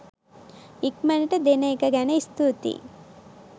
ඉක්මනට දෙන එක ගැන ස්තුතියි.